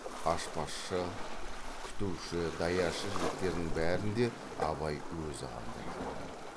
аспазшы күтуші даяшы жігіттердің бәрін де абай өзі қамдайды